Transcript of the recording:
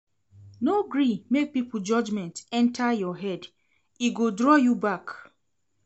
No gree make pipo judgement enta your head, e go draw you back.